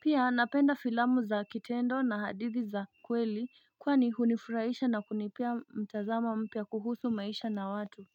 Pia napenda filamu za kitendo na hadithi za kweli kwani hunifuraisha na kunipea mtazamo mpya kuhusu maisha na watu.